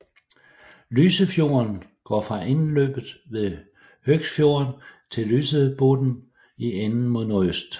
Lysefjorden går fra indløbet ved Høgsfjorden til Lysebotn i enden mod nordøst